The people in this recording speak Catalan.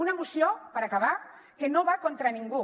una moció per acabar que no va contra ningú